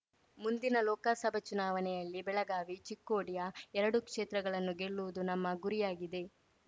ಮುಂದಿನ ಲೋಕಸಭಾ ಚುನಾವಣೆಯಲ್ಲಿ ಬೆಳಗಾವಿ ಚಿಕ್ಕೋಡಿಯ ಎರಡೂ ಕ್ಷೇತ್ರಗಳನ್ನು ಗೆಲ್ಲುವುದು ನಮ್ಮ ಗುರಿಯಾಗಿದೆ